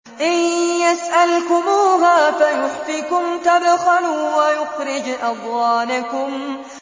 إِن يَسْأَلْكُمُوهَا فَيُحْفِكُمْ تَبْخَلُوا وَيُخْرِجْ أَضْغَانَكُمْ